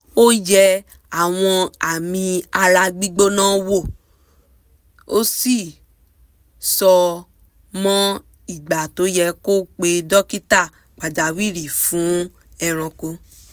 ó yẹ àwọn àmì ara gbígbóná wò ó sì mọ ìgbà tó yẹ kó pe dókítà pàjáwìrì fún ẹranko